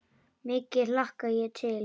Mikið hlakka ég til.